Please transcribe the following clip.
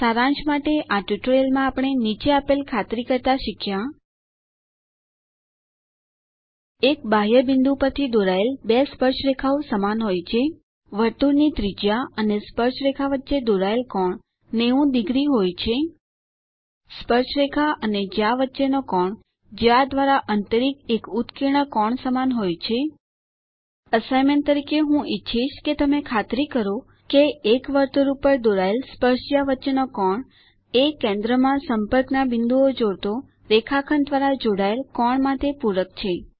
સારાંશ માટે આ ટ્યુટોરીયલમાં આપણે નીચે આપેલ ખાતરી કરતા શીખ્યા એક બાહ્ય બિંદુ પરથી દોરાયેલ બે સ્પર્શરેખાઓ સમાન હોય છે વર્તુળની ત્રિજ્યા અને સ્પર્શરેખા વચ્ચે દોરાયેલ કોણ 90 0 હોય છે સ્પર્શરેખા અને જ્યા વચ્ચેનો કોણ જ્યા દ્વારા અંતરિત એક ઉત્કીર્ણ કોણ સમાન હોય છે અસાઇનમેન્ટ તરીકે હું ઈચ્છીશ કે તમે ખાતરી કરો કે એક વર્તુળ ઉપર દોરાયેલ સ્પર્શજ્યા વચ્ચેનો કોણ એ કેન્દ્રમાં સંપર્કના બિંદુઓ જોડતો રેખાખંડ દ્વારા જોડાયેલ કોણ માટે પૂરક છે